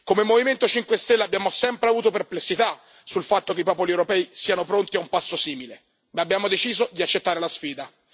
Come Movimento 5 Stelle abbiamo sempre avuto perplessità sul fatto che i popoli europei siano pronti a un passo simile, ma abbiamo deciso di accettare la sfida.